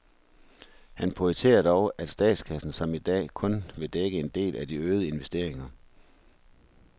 Han pointerer dog, at statskassen som i dag kun vil dække en del af de øgede investeringer.